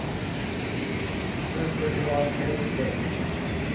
Nu ska vi ha en helkväll.